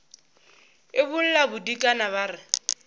e bolla bodikana ba re